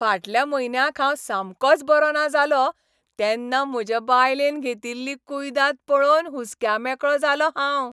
फाटल्या म्हयन्याक हांव सामकोच बरो ना जालों तेन्ना म्हजे बायलेन घेतिल्ली कुयदाद पळोवन हुस्क्यामेकळों जालों हांव.